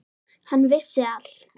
Hann vissi allt.